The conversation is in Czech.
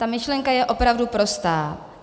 Ta myšlenka je opravdu prostá.